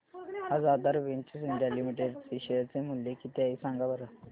आज Aadhar ventures India limited चे share चे मूल्य किती आहे सांगा बरं